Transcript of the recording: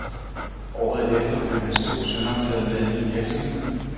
Året efter blev hans to sønner taget med i virksomheden.